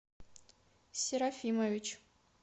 серафимович